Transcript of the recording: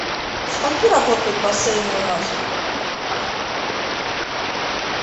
до скольки работают бассейны у нас